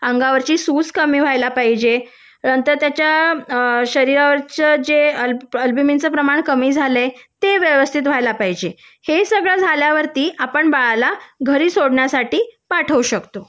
अंगावरची सूज कमी व्हायला पाहिजे नंतर त्याच्या शरीरावरचे जे अल्बमिनच प्रमाण कमी झालं आहे ते व्यवस्थित व्हायला पाहिजे हे सगळं झाल्यानंतर आपण बाळाला यासाठी पाठवू शकतो